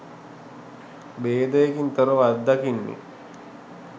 භේදයකින් තොරව අත්දකින්නේ